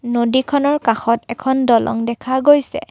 নদীখনৰ কাষত এখন দলং দেখা গৈছে।